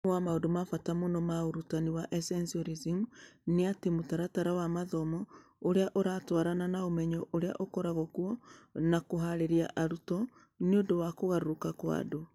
Ũmwe wa maũndũ ma bata mũno ma ũrutani wa Essentialism, nĩ atĩ, mũtaratara wa mathomo ũrĩa ũratwarana na ũmenyo ũrĩa ũkoragwo kuo, na kũhaarĩria arutwo nĩ ũndũ wa kũgarũrũka kwa andũ